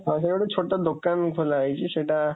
ମଝିରେ ଗୋଟେ ଛୋଟ ଦୋକାନ ଖୋଲାହେଇଛି, ସେଇଟା